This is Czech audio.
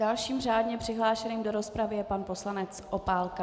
Dalším řádně přihlášeným do rozpravy je pan poslanec Opálka.